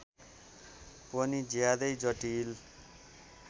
पनि ज्यादै जटिल